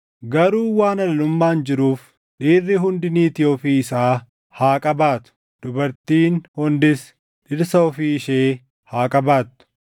Garuu waan halalummaan jiruuf dhiirri hundi niitii ofii isaa haa qabaatu; dubartiin hundis dhirsa ofii ishee haa qabaattu.